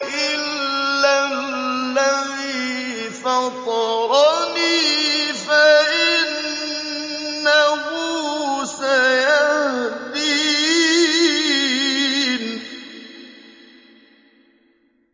إِلَّا الَّذِي فَطَرَنِي فَإِنَّهُ سَيَهْدِينِ